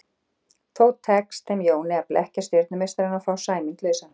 Þó tekst þeim Jóni að blekkja stjörnumeistarann og fá Sæmund lausan.